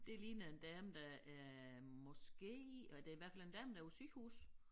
Det ligner en dame der er måske eller det i hvert fald en dame der på æ sygehus